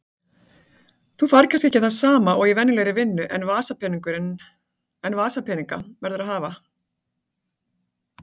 Þú færð kannski ekki það sama og í venjulegri vinnu en vasapeninga verðurðu að hafa.